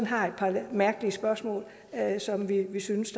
har et par mærkelige spørgsmål som vi synes